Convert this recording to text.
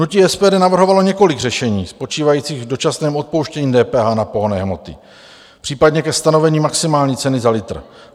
Hnutí SPD navrhovalo několik řešení spočívajících v dočasném odpuštění DPH na pohonné hmoty, případně ke stanovení maximální ceny za litr.